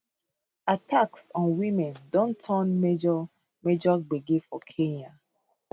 attacks on women don turn major major gbege for kenya